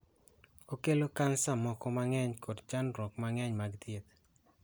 Okelo kansa moko nang'eny kod chandruok mang'eny mag thieth.